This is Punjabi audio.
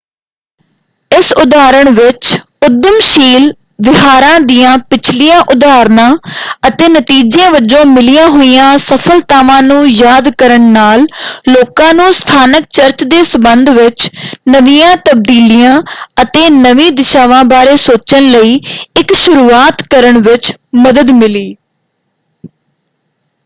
ਇਸ ਉਦਾਹਰਣ ਵਿੱਚ ਉੱਦਮਸ਼ੀਲ ਵਿਹਾਰਾਂ ਦੀਆਂ ਪਿਛਲੀਆਂ ਉਦਾਹਰਨਾਂ ਅਤੇ ਨਤੀਜੇ ਵਜੋਂ ਮਿਲੀਆਂ ਹੋਈਆਂ ਸਫਲਤਾਵਾਂ ਨੂੰ ਯਾਦ ਕਰਨ ਨਾਲ ਲੋਕਾਂ ਨੂੰ ਸਥਾਨਕ ਚਰਚ ਦੇ ਸੰਬੰਧ ਵਿੱਚ ਨਵੀਆਂ ਤਬਦੀਲੀਆਂ ਅਤੇ ਨਵੀਂ ਦਿਸ਼ਾਵਾਂ ਬਾਰੇ ਸੋਚਣ ਲਈ ਇੱਕ ਸ਼ੁਰੂਆਤ ਕਰਨ ਵਿੱਚ ਮਦਦ ਮਿਲੀ।